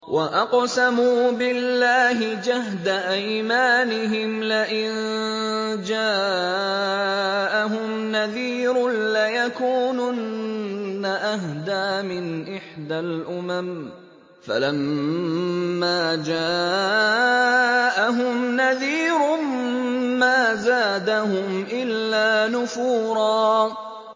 وَأَقْسَمُوا بِاللَّهِ جَهْدَ أَيْمَانِهِمْ لَئِن جَاءَهُمْ نَذِيرٌ لَّيَكُونُنَّ أَهْدَىٰ مِنْ إِحْدَى الْأُمَمِ ۖ فَلَمَّا جَاءَهُمْ نَذِيرٌ مَّا زَادَهُمْ إِلَّا نُفُورًا